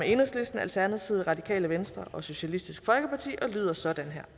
enhedslisten alternativet radikale venstre og socialistisk folkeparti og lyder sådan her